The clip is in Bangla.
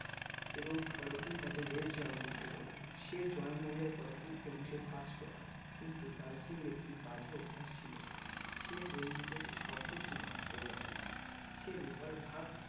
এবং পরের দিন তাকে race join করতে বলে সে join হয়ে যাই পরের দিন এবং সে first ও হয় কিন্তু লাল সিংয়ের একটি বাজে অভ্যাস ছিল সে বন্ধুকের শব্দ শুনে দৌড়াতো না সে রুপার ভাগ